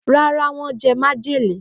Ràrá, wọn jẹ majele.